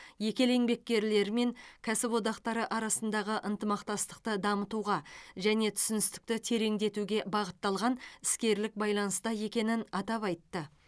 екі ел еңбеккерлері мен кәсіподақтары арасындағы ынтымақтастықты дамытуға және түсіністікті тереңдетуге бағытталған іскерлік байланыста екенін атап айтты